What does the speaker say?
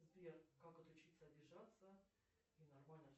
сбер как отучиться обижаться и нормально